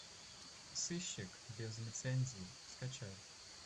сыщик без лицензии скачай